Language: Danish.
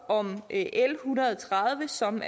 om l en hundrede og tredive som